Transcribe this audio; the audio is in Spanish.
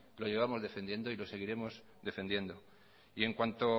lo llevamos defendiendo y lo seguiremos defendiendo y en cuanto